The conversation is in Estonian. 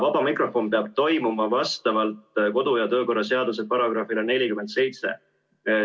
Vaba mikrofon peab toimuma vastavalt kodu- ja töökorra seaduse §-le 47.